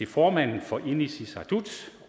formanden for inatsisartut